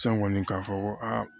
San kɔni k'a fɔ ko aa